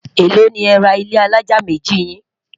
èlò ní é rà ilé alájá méjì yin?